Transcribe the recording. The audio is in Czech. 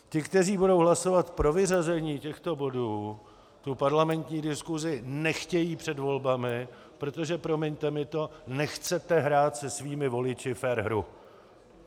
Ti, kteří budou hlasovat pro vyřazení těchto bodů, tu parlamentní diskusi nechtějí před volbami, protože - promiňte mi to - nechcete hrát se svými voliči fér hru.